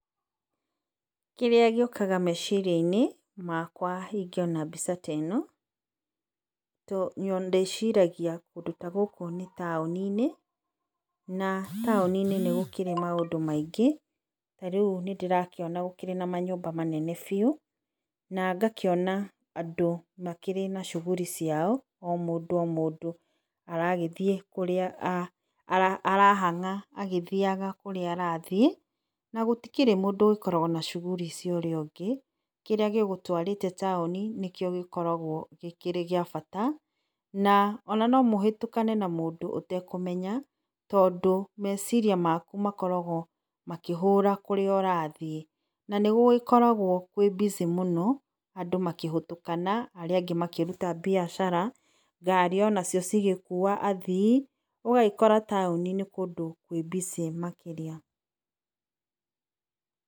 Kĩrĩa gĩũkaga meciria inĩ, makwa ingĩona mbica ta ĩno. Ndĩciragia kũndũ ta gũkũ nĩ taũni inĩ, na taũni inĩ nĩ gũkĩrĩ maũndũ maingĩ, tarĩu nĩndĩrakĩona manyũmba manene biũ, na ngakĩona andũ makĩrĩ na shughuli ciao, o mũndũ o mũndũ, aragĩthiĩ arahang'a na kũrĩa aragĩthiĩ, na gũtikĩrĩ mũndũ ũkoragwo na shughuli cia ũrĩa ũngĩ . Kĩrĩa gĩgũtwarĩte taũni nĩkĩo gĩkoragwo gĩgĩa bata ona no mũhũtũkane na mũndũ ũtekũmenya tondũ meciria maku makoragwo makĩhũra kũrĩa ũrathiĩ. Nanĩgũkoragwo kwĩ busy mũno andũ makĩhũtũkana arĩa angĩ makĩruta mbiacara, ngari onacio cigĩkua athii, ũgagĩkora taũni nĩ kũndũ kwĩ busy makĩria